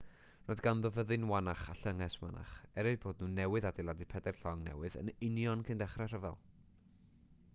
roedd ganddo fyddin wannach a llynges wannach er eu bod nhw newydd adeiladu pedair llong newydd yn union cyn dechrau'r rhyfel